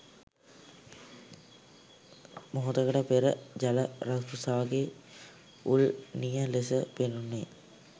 මොහොතකට පෙර ජල රකුසාගේ උල් නිය ලෙස පෙනුනේ